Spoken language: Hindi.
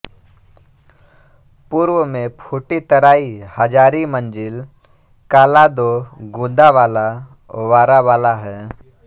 पूर्व में फूटीतराई हज़ारीमंज़ील कालादो गुंदावाला वारावाला है